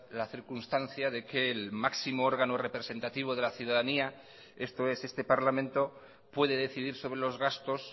la circunstancia de que el máximo órgano representativo de la ciudadanía esto es este parlamento puede decidir sobre los gastos